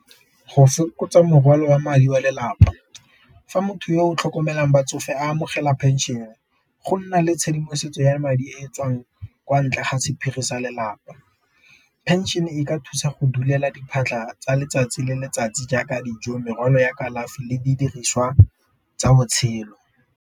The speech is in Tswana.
Go fokotsa morwalo wa madi wa lelapa, fa motho yo o tlhokomelang batsofe amogela pension go nna le tshedimosetso ya madi e tswang kwa ntle ga sephiri sa lelapa. Pension e ka thusa go diphatlha tsa letsatsi le letsatsi jaaka dijo, morwalo ya kalafi le di diriswa tsa botshelo.